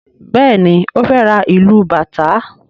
Béèni o fè rá ilú bàtá.